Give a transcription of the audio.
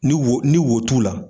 Ni wo ni wo t'u la